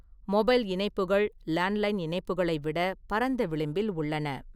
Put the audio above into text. Mobile இணைப்புகள் landline இணைப்புகளை விட பரந்த விளிம்பில் உள்ளன.